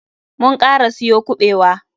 Mun kara siyo kuɓewa.